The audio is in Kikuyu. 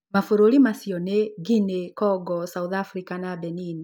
Mabũrũri macio nĩ; guinea, congo, south Africa na benin